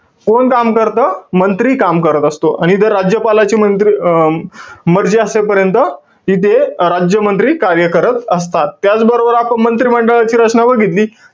कोण काम करतं? मंत्री काम करत असतो. आणि इथं राज्यपालाची मंत्री~ अं मर्जी असेपर्यंत इथे राज्यमंत्री कार्य करत असतात. त्याचबरोबर, आपण मंत्रीमंडळाची रचना बघितली.